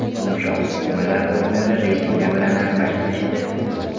Yumshoq to‘qimalar o‘rnini rezina bilan almashtirishdi.